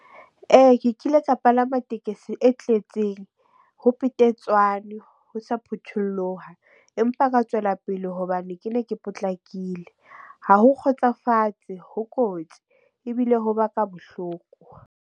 Ke kile ka palama tekesi e tletseng ho petetswane ho sa phutholloha, empa ka tswela pele hobane ke ne ke potlakile. Ha ho kgotsofatse ho kotsi ebile ho baka bohloko.